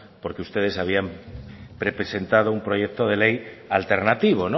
porque ustedes habían representado un proyecto de ley alternativo